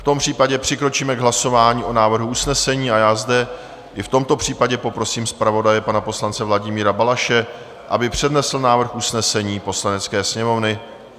V tom případě přikročíme k hlasování o návrhu usnesení a já zde i v tomto případě poprosím zpravodaje pana poslance Vladimíra Balaše, aby přednesl návrh usnesení Poslanecké sněmovny.